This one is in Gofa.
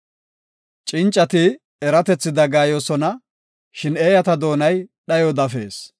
Cincati eratethi dagayoosona; shin eeyata doonay dhayo dafees.